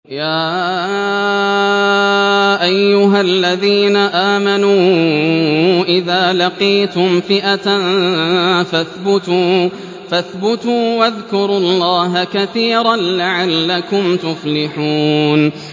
يَا أَيُّهَا الَّذِينَ آمَنُوا إِذَا لَقِيتُمْ فِئَةً فَاثْبُتُوا وَاذْكُرُوا اللَّهَ كَثِيرًا لَّعَلَّكُمْ تُفْلِحُونَ